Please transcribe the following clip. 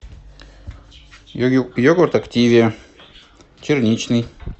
йогурт активия черничный